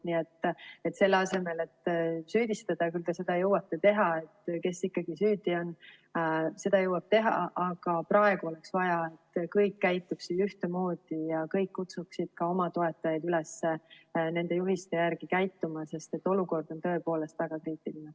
Nii et selle asemel, et süüdistada, et kes ikkagi süüdi on – küll te seda jõuate teha –, aga praegu oleks vaja, et kõik käituksid ühtemoodi ja kõik kutsuksid ka oma toetajaid üles nende juhiste järgi käituma, sest olukord on tõepoolest väga kriitiline.